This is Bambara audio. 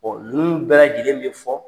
ninnu bɛɛ lajɛlen bɛ fɔ.